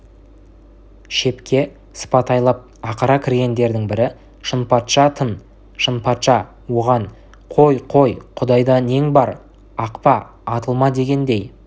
шепке сыпатайлап ақыра кіргендердің бірі шынпатша-тын шынпатша оған қой қой құдайда нең бар ақпа атылма дегендей